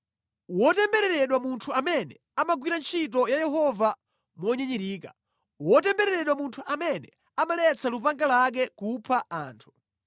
“Wotembereredwa munthu amene amagwira ntchito ya Yehova monyinyirika! Wotembereredwa munthu amene amaletsa lupanga lake kupha anthu!